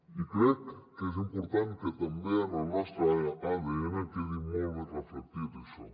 i crec que és important que també en el nostre adn quedi molt ben reflectit això